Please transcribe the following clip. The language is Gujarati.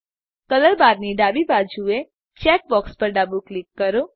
કલર barની ડાબી બાજુએ ચેકબોક્સ પર ડાબું ક્લિક કરો